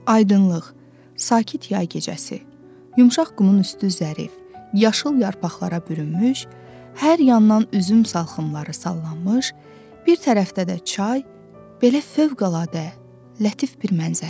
Aydınlıq, sakit yay gecəsi, yumşaq qumun üstü zərif, yaşıl yarpaqlara bürünmüş, hər yandan üzüm salxımları sallanmış, bir tərəfdə də çay, belə fövqəladə lətif bir mənzərə.